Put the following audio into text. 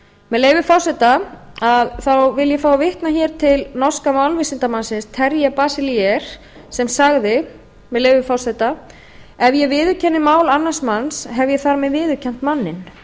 með leyfi forseta vil ég fá að vitna hér til norska málvísindamanninum telja basiliers sem sagði með leyfi forseta ef ég viðurkenni mál annars manns hef ég þar með viðurkennt manninn